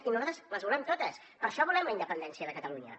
i nosaltres volem totes per això volem la independència de catalunya